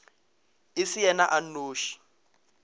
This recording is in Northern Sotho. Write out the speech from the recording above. e se yena a nnoši